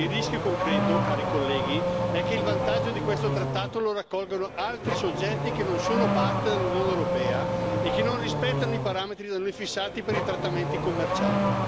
Il rischio concreto, cari colleghi, è che il vantaggio di questo trattato lo raccolgano altri soggetti che non sono parte dell'Unione europea e che non rispettano i parametri fissati per i trattamenti commerciali.